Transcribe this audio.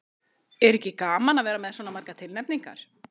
Er ekki gaman að vera með svona margar tilnefningar?